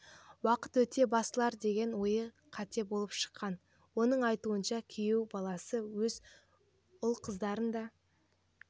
уақыт өте басылар деген ойы қате болып шыққан оның айтуынша күйеу баласы өз ұл-қыздарын да